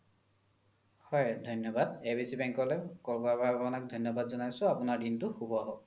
হয় ধন্যবাদ abc bank লই call কৰা কাৰণে আপোনাক ধন্যবাদ জ্নাইছো আপোনাৰ দিনতো সুভ হৈওক